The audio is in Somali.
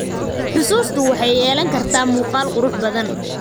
Xusuustu waxay yeelan kartaa muuqaal qurux badan.